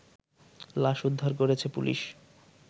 লাশ উদ্ধার করেছে পুলিশ